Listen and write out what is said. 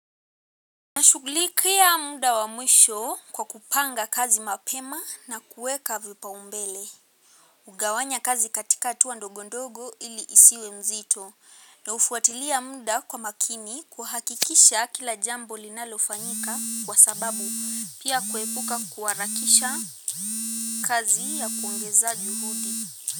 Na shugulikia muda wa mwisho kwa kupanga kazi mapema na kuweka vipau mbele. Hugawanya kazi katika hatua ndogondogo ili isiwe nzito na hufuatilia muda kwa makini kuhakikisha kila jambo linalofanyika kwa sababu pia kuepuka kuharakisha kazi ya kuongeza juhudi.